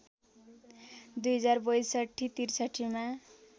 २०६२ ६३ मा